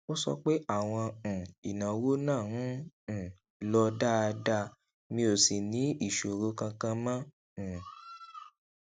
ó sọ pé àwọn um ìnáwó náà ń um lọ dáadáa mi ò sì ní ìṣòro kankan mó um